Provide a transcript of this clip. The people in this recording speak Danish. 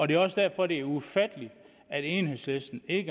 det er også derfor det er ufatteligt at enhedslisten ikke